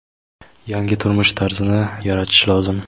yangi turmush tarzini yaratish lozim.